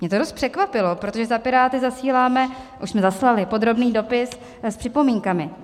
Mě to dost překvapilo, protože za Piráty zasíláme, už jsme zaslali, podrobný dopis s připomínkami.